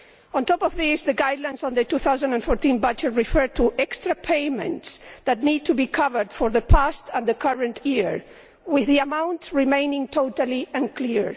On top of this, the guidelines on the 2014 budget refer to extra payments that need to be covered for past and current years, with the amounts remaining totally unclear.